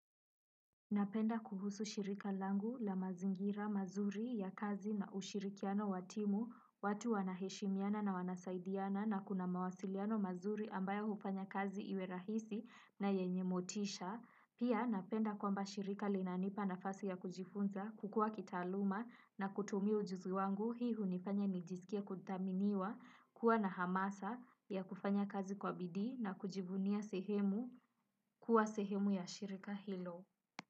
Napenda kuhusu shirika langu la mazingira mazuri ya kazi na ushirikiano wa timu watu wanaheshimiana na wanasaidiana na kuna mawasiliano mazuri ambayo hufanya kazi iwe rahisi na yenye motisha. Pia napenda kwamba shirika linanipa nafasi ya kujifunza kukua kitaaluma na kutumia ujuzi wangu hii hunifanya nijisikie kuthaminiwa kuwa na hamasa ya kufanya kazi kwa bidii na kujivunia sehemu kuwa sehemu ya shirika hilo.